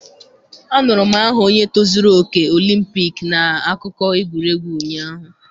Anụrụ m aha onye tozuru oke Olimpik na akụkọ egwuregwu ụnyahụ.